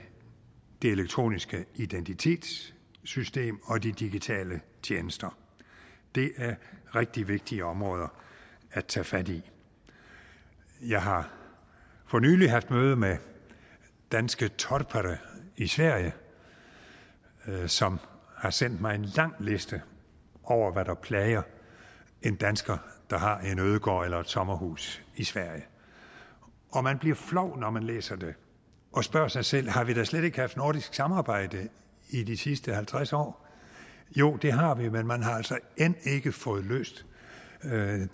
det elektroniske identitetssystem og de digitale tjenester det er rigtig vigtige områder at tage fat i jeg har for nylig haft møde med danske torpare i sverige som har sendt mig en lang liste over hvad der plager en dansker der har en ødegård eller et sommerhus i sverige og man bliver flov når man læser det og spørger sig selv har vi da slet ikke haft nordisk samarbejde i de sidste halvtreds år jo det har vi men man har altså end ikke fået løst